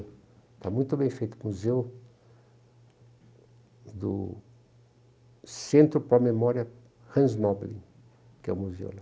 Está muito bem feito o museu do Centro para a Memória Hans Noblin, que é o museu lá.